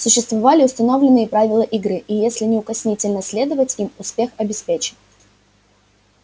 существовали установленные правила игры и если неукоснительно следовать им успех обеспечен